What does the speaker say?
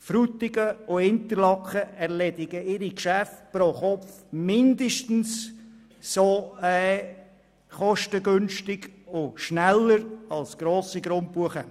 Frutigen und Interlaken erledigen ihre Geschäfte pro Kopf mindestens so kostengünstig und schnell wie grosse Grundbuchämter.